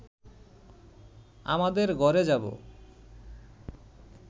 আমাদের ঘরে যাব